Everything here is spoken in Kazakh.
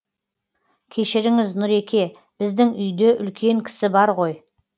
кешіріңіз нұреке біздің үйде үлкен кісі бар ғой